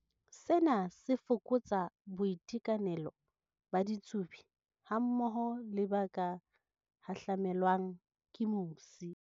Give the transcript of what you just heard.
Sena se fokotsa boitekanelo ba ditsubi hammoho le ba ka hahlamelwang ke mosi.